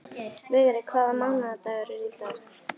Vigri, hvaða mánaðardagur er í dag?